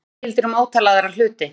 Þetta gildir um ótal aðra hluti.